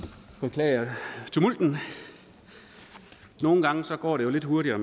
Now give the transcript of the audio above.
beklager tumulten nogle gange går det jo lidt hurtigere